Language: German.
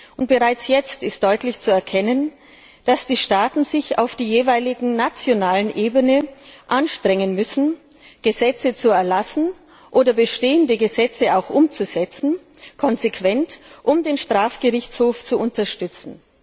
Und bereits jetzt ist deutlich zu erkennen, dass die Staaten sich auf der jeweiligen nationalen Ebene anstrengen müssen, Gesetze zu erlassen oder bestehende Gesetze auch konsequent umzusetzen, um den Strafgerichtshof zu unterstützen.